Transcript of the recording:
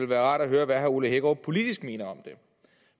være rart at høre hvad herre ole hækkerup politisk mener om